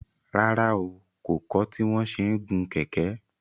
Rárá o, kò kọ́ tí wọn ṣe ń gun kẹ̀kẹ́